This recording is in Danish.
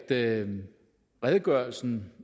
at redegørelsen